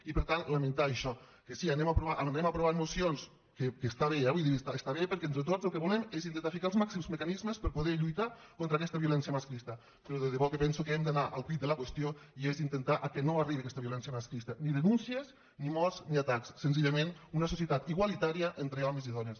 i per tant lamentar això que sí anem aprovant mocions que està bé eh vull dir està bé perquè entre tots el que volem és intentar aixecar els màxims mecanismes per poder lluitar contra aquesta violència masclista però de debò que penso que hem d’anar al quid de la qüestió que és intentar que no arribi aquesta violència masclista ni denúncies ni morts ni atacs senzillament una societat igualitària entre homes i dones